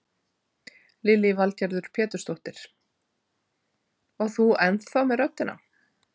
Lillý Valgerður Pétursdóttir: Og þú ennþá með röddina?